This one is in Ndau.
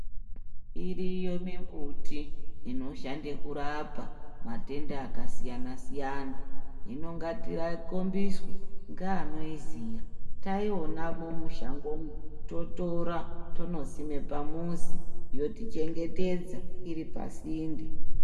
Iriyo mimbuti inoshande kurapa matenda akasiyana-siyana hino ngatikombiswe ngeanoiziya, taionamwo mushangomwo totora tonosime pamuzi yotichengetedza iri pasinde.